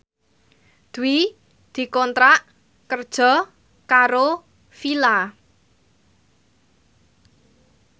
Dwi dikontrak kerja karo Fila